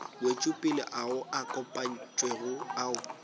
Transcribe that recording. wetšopele ao a kopantšwego ao